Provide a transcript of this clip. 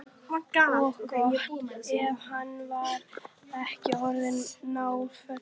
Og gott ef hann var ekki orðinn náfölur.